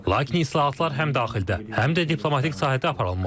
Lakin islahatlar həm daxildə, həm də diplomatik sahədə aparılmalı idi.